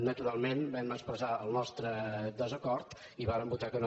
naturalment vam expressar el nostre desacord i hi vàrem votar que no